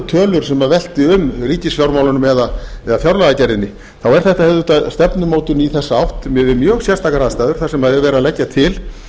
tölur sem veltu um ríkisfjármálunum eða fjárlagagerðinni þá er þetta einmitt stefnumótun í þessa átt miðað við mjög sérstakar aðstæður þar sem verið er að leggja til